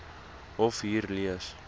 hof hier lees